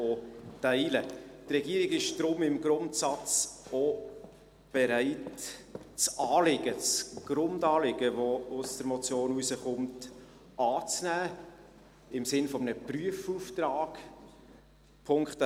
Die Regierung ist daher im Grundsatz auch bereit, das Anliegen, das Grundanliegen, das aus der Motion hervorgeht, im Sinn eines Prüfauftrags anzunehmen.